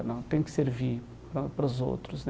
Ela tem que servir para para os outros né.